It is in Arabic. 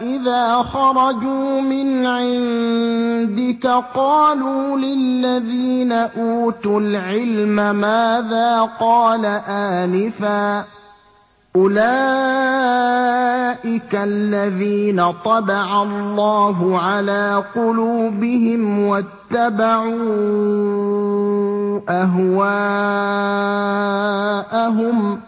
إِذَا خَرَجُوا مِنْ عِندِكَ قَالُوا لِلَّذِينَ أُوتُوا الْعِلْمَ مَاذَا قَالَ آنِفًا ۚ أُولَٰئِكَ الَّذِينَ طَبَعَ اللَّهُ عَلَىٰ قُلُوبِهِمْ وَاتَّبَعُوا أَهْوَاءَهُمْ